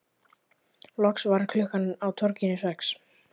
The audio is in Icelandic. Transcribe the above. Loks varð klukkan á torginu sex.